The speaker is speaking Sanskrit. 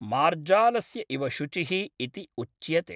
मार्जालस्य इव शुचिः इति उच्यते।